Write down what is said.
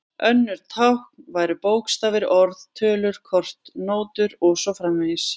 Önnur tákn væru bókstafir, orð, tölur, kort, nótur og svo framvegis.